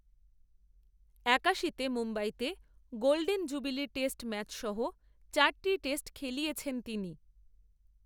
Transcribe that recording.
একাশিতে মুম্বইতে golden jubilee test ম্যাচসহ, চারটি টেস্ট খেলিয়েছেন তিনি